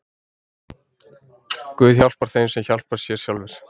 Guð hjálpar þeim sem hjálpa sér sjálfur.